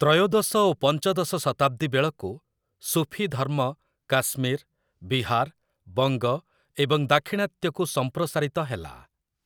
ତ୍ରୟୋଦଶ ଓ ପଞ୍ଚଦଶ ଶତାବ୍ଦୀ ବେଳକୁ ସୁଫୀ ଧର୍ମ କାଶ୍ମୀର୍, ବିହାର୍, ବଙ୍ଗ ଏବଂ ଦାକ୍ଷିଣାତ୍ୟକୁ ସମ୍ପ୍ରସାରିତ ହେଲା ।